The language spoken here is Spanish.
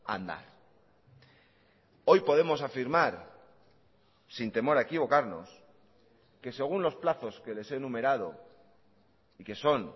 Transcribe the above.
a andar hoy podemos afirmar sin temor a equivocarnos que según los plazos que les he enumerado y que son